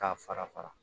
K'a fara fara